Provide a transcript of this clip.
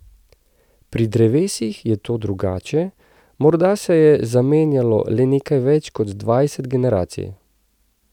Pri drevesih je to drugače, morda se je zamenjalo le nekaj več kot dvajset generacij.